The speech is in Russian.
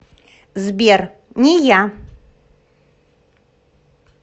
сбер не я